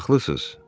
Haqlısız.